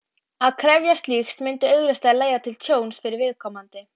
Að krefjast slíks myndi augljóslega leiða til tjóns fyrir viðkomandi.